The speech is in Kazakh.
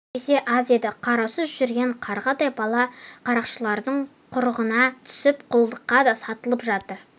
үш есе аз еді қараусыз жүрген қарғадай бала қарақшылардың құрығына түсіп құлдыққа да сатылып жатыр